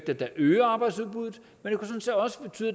vil bare høre om